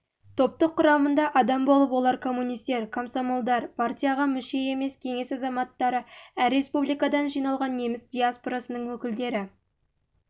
топтық құрамында адам болып олар коммунистер комсомолдар партияға мүше емес кеңес азаматтары әр республикадан жиналған неміс диаспорасының өкілдері